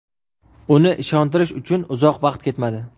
Uni ishontirish uchun uzoq vaqt ketmadi.